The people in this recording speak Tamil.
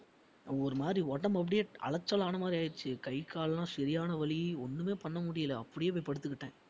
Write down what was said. ஒரு மாதிரி உடம்பு அப்படியே அலைச்சல் ஆன மாதிரி ஆயிடுச்சு கை, கால்லாம் சரியான வலி ஒண்ணுமே பண்ண முடியல அப்படியே போய் படுத்துக்கிட்டேன்